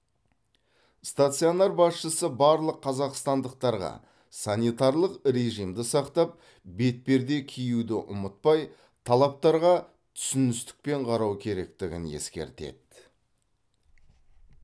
стационар басшысы барлық қазақстандықтарға санитарлық режимді сақтап бетперде киюді ұмытпай талаптарға түсіністікпен қарау керектігін ескертеді